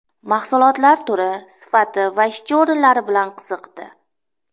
Mahsulotlar turi, sifati va ishchi o‘rinlari bilan qiziqdi.